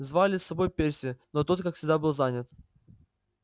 звали с собой перси но тот как всегда был занят